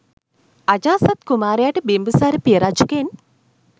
අජාසත් කුමාරයාට බිම්බිසාර පිය රජුගෙන්